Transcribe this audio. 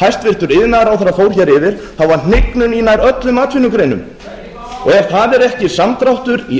hæstvirtur iðnaðarráðherra fór hér yfir var hnignun í nær öllum atvinnugreinum og ef það er ekki samdráttur í